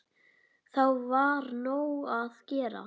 Þá var nóg að gera.